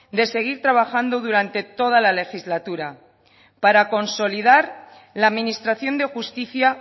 de seguir trabajando durante toda la legislatura para consolidar la administración de justicia